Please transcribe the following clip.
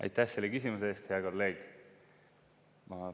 Aitäh selle küsimuse eest, hea kolleeg!